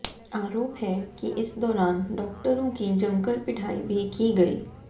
आरोप है कि इस दौरान डॉक्टरों की जमकर पिटाई भी की गई